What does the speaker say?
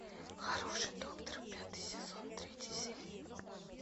хороший доктор пятый сезон третья серия